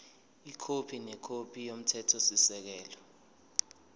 ikhophi nekhophi yomthethosisekelo